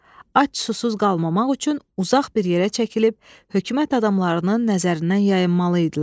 Ac susuz qalmamaq üçün uzaq bir yerə çəkilib, hökumət adamlarının nəzərindən yayınmalı idilər.